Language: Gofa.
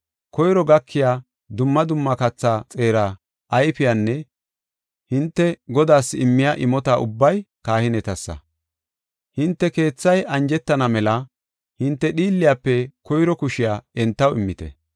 Koyro gakiya dumma dumma kathaa xeera ayfeynne hinte Godaas immiya imota ubbay kahinetassa. Hinte keethay anjetana mela hinte dhiilliyafe koyro kushiya entaw immite.